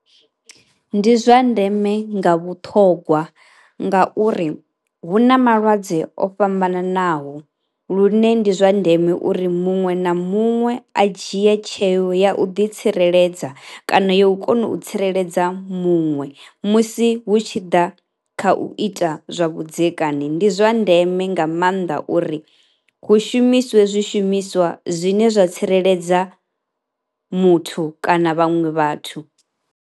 Ndi zwa ndeme nga vhuṱhogwa ngauri hu na malwadze o fhambananaho, lune ndi zwa ndeme uri muṅwe na muṅwe a dzhie tsheo ya u ḓitsireledza kana yo u kona u tsireledza muṅwe musi hu tshi ḓa kha u ita zwavhudzekani. Ndi zwa ndeme nga maanḓa uri hu shumiswe zwishumiswa zwine zwa tsireledza muthu kana vhaṅwe vhathu.